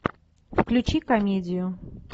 включи комедию